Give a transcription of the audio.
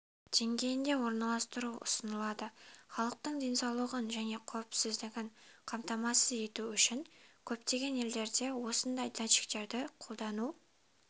деңгейінде орналастыру ұсынылады халықтың денсаулығын және қауіпсіздігін қамтамасыз ету үшін көптеген елдерде осындай датчиктерді қолдану